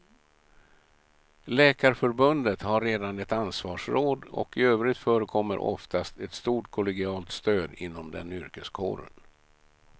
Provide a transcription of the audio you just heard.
Läkarförbundet har redan ett ansvarsråd och i övrigt förekommer oftast ett stort kollegialt stöd inom den yrkeskåren.